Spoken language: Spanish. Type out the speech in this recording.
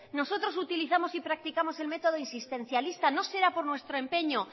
nosotros utilizamos y practicamos el método insistencialista nos será por nuestro empeño